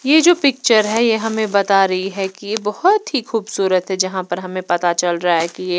यह जो पिक्चर है यह हमें बता रही है कि यह बहुत ही खूबसूरत है जहां पर हमें पता चल रहा है कि यह --